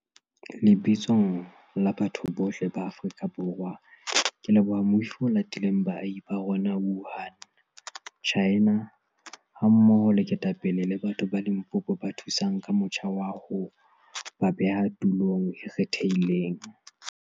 Lebitsong la batho bohle ba Aforika Borwa ke leboha moifo o latileng baahi ba bo rona Wuhan, Tjhaena, hammoho le ketapele le batho ba Limpopo ba thusang ka motjha wa ho ba beha tulong e kgethehileng.